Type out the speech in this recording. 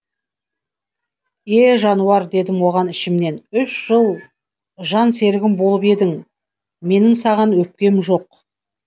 е жануар дедім оған ішімнен үш жыл жан серігім болып едің менің саған өкпем жоқ